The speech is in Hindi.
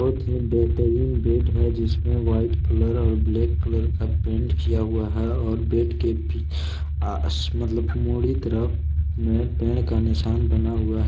बेहतरीन बेड है। जिसमें व्हाइट कलर और ब्लैक कलर का पेंट किया हुआ है। और बेड के पी अ मतलब मुड़ी तरफ में पेड़ का निशान बना हुआ है।